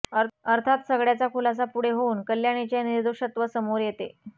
अर्थात सगळ्याचा खुलासा पुढे होऊन कल्याणीचे निर्दोषत्व समोर येते